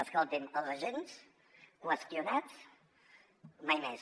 escolti’m els agents qüestionats mai més